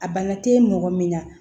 A bana te mɔgɔ min na